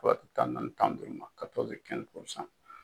tan ni naani tan ni duuru ma